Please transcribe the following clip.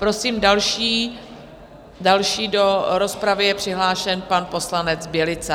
Prosím, další do rozpravy je přihlášen pan poslanec Bělica.